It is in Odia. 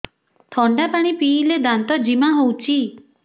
ଥଣ୍ଡା ପାଣି ପିଇଲେ ଦାନ୍ତ ଜିମା ହଉଚି